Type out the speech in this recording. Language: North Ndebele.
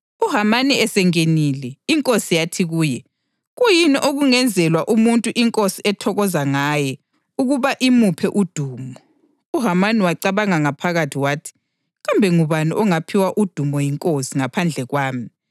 UHamani esengenile, inkosi yathi kuye, “Kuyini okungenzelwa umuntu inkosi ethokoza ngaye ukuba imuphe udumo?” UHamani wacabanga ngaphakathi wathi, “Kambe ngubani ongaphiwa udumo yinkosi ngaphandle kwami?”